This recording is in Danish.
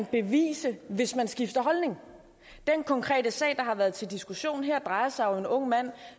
bevises hvis man skifter holdning den konkrete sag der har været til diskussion her drejer sig jo om en ung mand